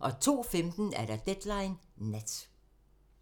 02:15: Deadline Nat